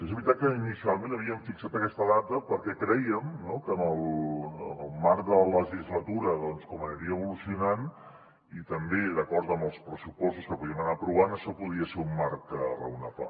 és veritat que inicialment havíem fixat aquesta data perquè crèiem que en el marc de la legislatura doncs com aniria evolucionant i també d’acord amb els pressupostos que podíem aprovar això podia ser un marc raonable